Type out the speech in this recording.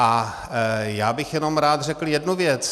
A já bych jenom rád řekl jednu věc.